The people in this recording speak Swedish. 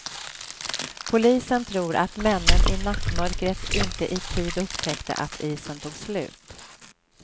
Polisen tror att männen i nattmörkret inte i tid upptäckte att isen tog slut.